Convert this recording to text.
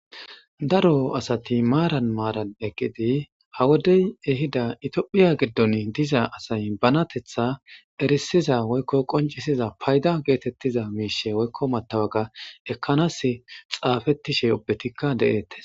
Daro asato maatan maaran eqidi ha wodey ehida itophphiya giddon diza asay banatetha erissanaas e woykko qonccissiza fayda geetettiza mettawoqiyas xafettishe ubbatikka de7eetes.